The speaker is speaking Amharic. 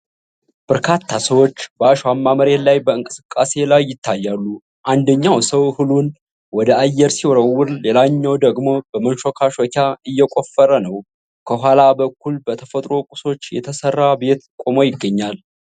በርካታ ሰዎች በአሸዋማ መሬት ላይ በእንቅስቃሴ ላይ ይታያሉ። አንደኛው ሰው እህሉን ወደ አየር ሲወረውር ሌላኛው ደግሞ በመንሾካሾኪያ እየቆፈረ ነው። ከኋላ በኩል በተፈጥሮ ቁሶች የተሰራ ቤት ቆሞ ይገኛል።